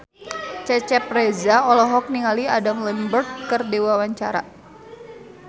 Cecep Reza olohok ningali Adam Lambert keur diwawancara